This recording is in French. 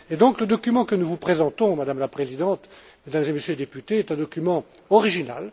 Et donc le document que nous vous présentons, Madame la Présidente, Mesdames et Messieurs les députés, est un document original.